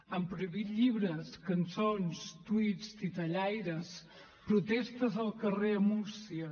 han prohibit llibres cançons tuits titellaires protestes al carrer a múrcia